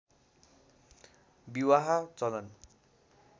विवाह चलन